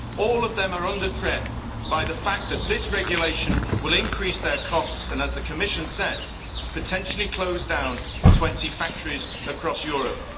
All of them are under threat from the fact that this regulation will increase their costs and, as the Commission says, potentially close down 20 factories across Europe.